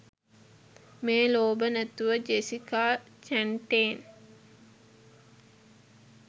මේ ලෝභ නැතුව ජෙසිකා චැන්ටේන්